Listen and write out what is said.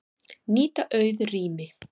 Nýta auð rými